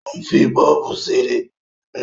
Ó ń fi bọ́ọ̀bù ṣeré